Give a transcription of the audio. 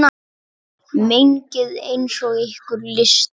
Mengið eins og ykkur lystir.